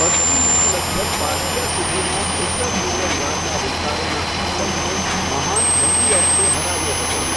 પશ્ચિમમાં લગભગ પાર્થિયા સુધીના ઉત્તર પૂર્વ ઈરાનના વિસ્તારોના શાસકને મહાન એન્ટિઓક્સે હરાવ્યો હતો.